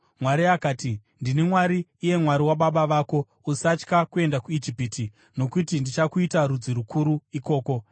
Mwari akati, “Ndini Mwari, iye Mwari wababa vako. Usatya kuenda kuIjipiti, nokuti ndichakuita rudzi rukuru ikoko.